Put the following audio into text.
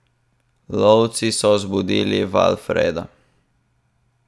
Lovci so zbudili Valfreda.